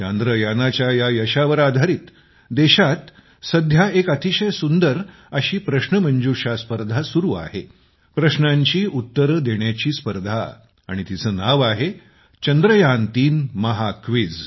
चांद्रयानाच्या या यशावर आधारीत देशात सध्या एक अतिशय सुंदर अशी प्रश्नमंजुषा स्पर्धा सुरू आहे प्रश्नांची उत्तरे देण्याची स्पर्धा आणि तिचं नाव आहे चंद्रयान3 महाक्विझ